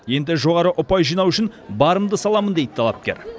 енді жоғары ұпай жинау үшін барымды саламын дейді талапкер